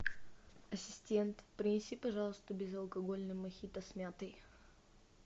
ассистент принеси пожалуйста безалкогольный мохито с мятой